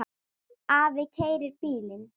Afi keyrir bílinn.